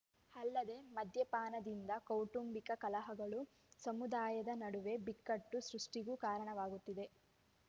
ಅಲ್ಲದೆ ಮದ್ಯಪಾನದಿಂದ ಕೌಟುಂಬಿಕ ಕಲಹಗಳು ಸಮುದಾಯದ ನಡುವೆ ಬಿಕ್ಕಟ್ಟು ಸೃಷ್ಟಿಗೂ ಕಾರಣವಾಗುತ್ತಿದೆ